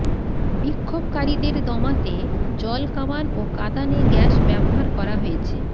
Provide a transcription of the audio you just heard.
বিক্ষোভকারীদের দমাতে জলকামান ও কাঁদানে গ্যাস ব্যবহার করা হয়েছে